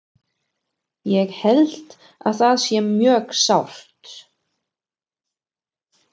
Ég held að það sé mjög sárt.